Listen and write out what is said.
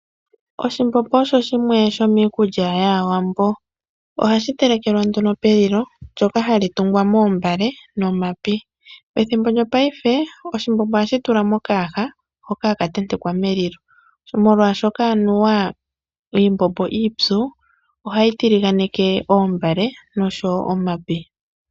Oshimbombo osho shimwe shomiikulya yAawambo, ohashi telekelwa nduno pelilo ndjoka hali tungwa moombale nomapi. Pethimbo lyopaife oshimbombo ohashi tulwa mokayaha hoka haka tentekwa melilo, molwaashoka anuwa iimbombo iipyu ohayi tiliganeke Oombale nosho woo Omapi.